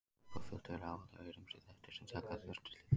Þegar íbúafjöldi er áætlaður eru ýmsir þættir sem taka þarf tillit til.